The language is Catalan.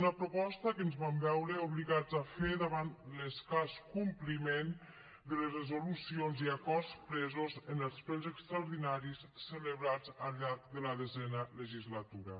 una proposta que ens vam veure obligats a fer davant l’escàs compliment de les resolucions i acords presos en els plens extraordinaris celebrats al llarg de la desena legislatura